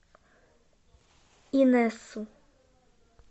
инессу